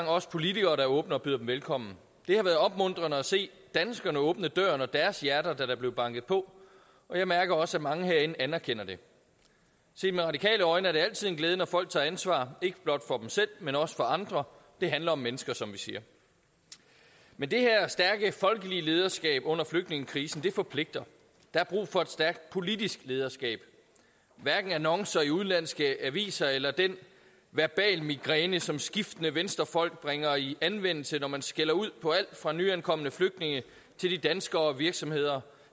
os politikere der åbner døren og byder dem velkommen det har været opmuntrende at se danskerne åbne døren og deres hjerter da der blev banket på og jeg mærker også at mange herinde anerkender det set med radikale øjne er det altid en glæde når folk tager ansvar ikke blot for selv men også for andre det handler om mennesker som vi siger men det her stærke folkelige lederskab under flygtningekrisen forpligter der er brug for et stærkt politisk lederskab hverken annoncer i udenlandske aviser eller den verbale migræne som skiftende venstrefolk bringer i anvendelse når man skælder ud på alt fra nyankomne flygtninge til de danskere og virksomheder